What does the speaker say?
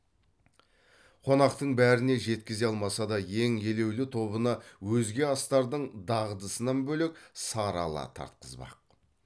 қонақтың бәріне жеткізе алмаса да ең елеулі тобына өзге астардың дағдысынан бөлек сары ала тартқызбақ